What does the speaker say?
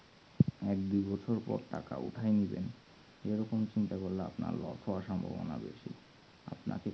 এক দু বছর পর টাকা উঠায় নেবেন এরকম চিন্তা করলে আল্পনার loss হওয়ার সম্ভবনা বেশি আপনাকে